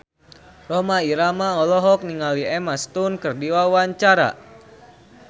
Rhoma Irama olohok ningali Emma Stone keur diwawancara